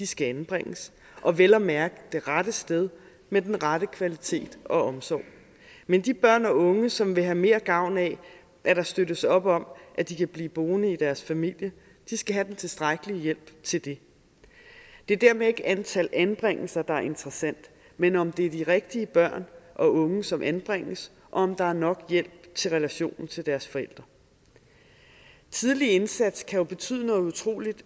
skal anbringes og vel at mærke det rette sted med den rette kvalitet og omsorg men de børn og unge som vil have mere gavn af at der støttes op om at de kan blive boende i deres familie skal have den tilstrækkelige hjælp til det det er dermed ikke antal anbringelser der er interessant men om det er de rigtige børn og unge som anbringes og om der er nok hjælp til relationen til deres forældre tidlig indsats kan jo betyde noget utrolig